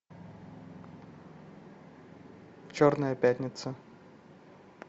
черная пятница